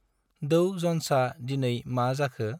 डौ जन्सा दिनै मा जाखो?